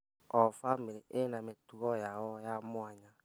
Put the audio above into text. O bamĩrĩ ĩna mĩtugo yayo ya mwanya.